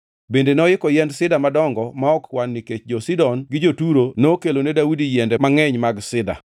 Bende noiko yiend sida madongo ma ok kwan nikech jo-Sidon gi jo-Turo nokelone Daudi yiende mangʼeny mag sida.